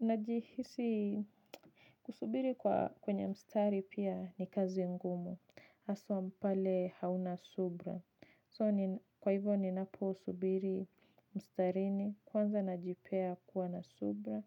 Najihisi kusubiri kwenye mstari pia ni kazi ngumu. Haswa pale hauna subira. Kwa hivyo ninapo subiri mstarini kwanza najipea kuwa na subira.